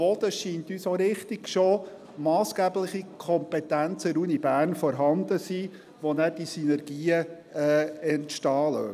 Es scheint uns auch richtig, dass durch massgebliche Kompetenzen, die an der Universität Bern schon vorhanden sind, Synergien entstehen.